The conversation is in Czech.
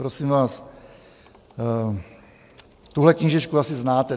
Prosím vás, tuhle knížečku asi znáte.